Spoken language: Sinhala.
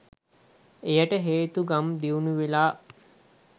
එයට හේතු ගම් දියුණුවෙලා